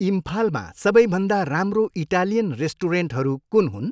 इम्फालमा सबैभन्दा राम्रो इटालियन रेस्टुरेन्टहरू कुन हुन्?